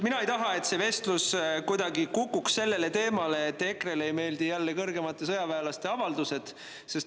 Mina ei taha, et see vestlus kukuks kuidagi selle teema juurde, et EKRE‑le ei meeldi jälle kõrgemate sõjaväelaste avaldused.